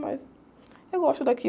Mas eu gosto daqui.